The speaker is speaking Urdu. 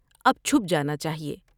اب چپ جانا چاہیے ۔